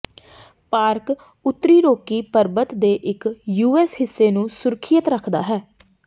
park ਉੱਤਰੀ Rocky ਪਰਬਤ ਦੇ ਇੱਕ ਯੂਐਸ ਹਿੱਸੇ ਨੂੰ ਸੁਰੱਖਿਅਤ ਰੱਖਦਾ ਹੈ